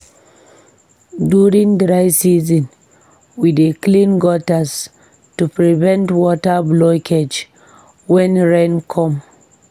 During dry season, we dey clean gutters to prevent water blockage when rain come.